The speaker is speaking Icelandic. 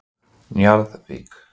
Njarðvík